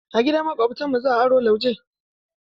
A gidan Maƙwabtanmu za aro lauje.